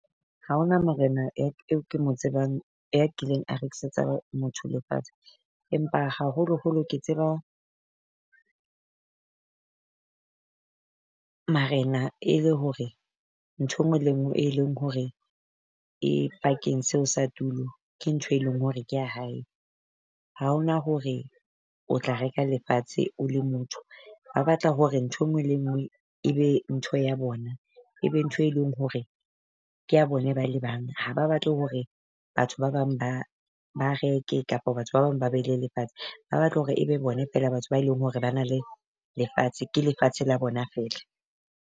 Ha ho na morena eo ke mo tsebang ya kileng a rekisetsa motho lefatshe, empa haholoholo ke tseba marena e le hore ntho engwe le ngwe, e leng hore e pakeng seo sa tulo. Ke ntho e leng hore ke ya hae. Ha ho na hore o tla reka lefatshe o le motho ba ba tla hore ntho engwe le engwe e be ntho ya bona, e be ntho e leng hore kea bona bale bang. Ha ba batle hore batho ba bang ba ba reke kapa batho ba bang ba be le lefatshe, ba batla hore e be bone feela batho ba e leng hore ba na le lefatshe ke lefatshe la bona feela.